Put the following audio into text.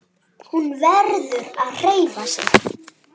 Hún verður að hreyfa sig.